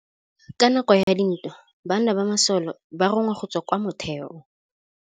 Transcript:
Ka nakô ya dintwa banna ba masole ba rongwa go tswa kwa mothêô.